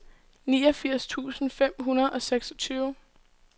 niogfirs tusind fem hundrede og seksogtyve